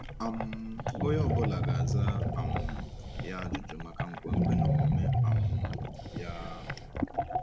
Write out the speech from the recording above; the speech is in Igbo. um Onye ọ bụla ga-aza um ya ajụjụ maka nkwenkwe na omume um ya.